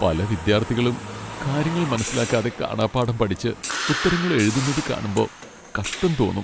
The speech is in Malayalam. പല വിദ്യാർത്ഥികളും കാര്യങ്ങൾ മനസ്സിലാക്കാതെ കാണാപ്പാഠം പഠിച്ച് ഉത്തരങ്ങൾ എഴുതുന്നത് കാണുമ്പോ കഷ്ടം തോന്നും .